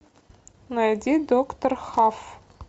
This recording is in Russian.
найди доктор хаф